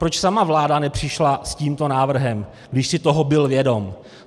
Proč sama vláda nepřišla s tímto návrhem, když si toho byl vědom?